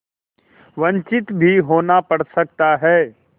वंचित भी होना पड़ सकता है